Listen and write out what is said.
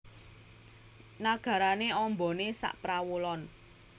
Nagarane ambane saprawolon